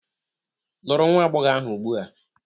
Lụrụ nwa agbọghọ ahụ ugbu a!